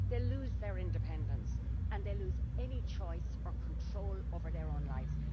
They lose their independence and they lose any choice or control over their own lives.